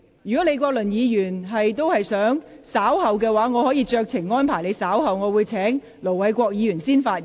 如果李國麟議員想稍後才發言，我可以酌情先請盧偉國議員發言。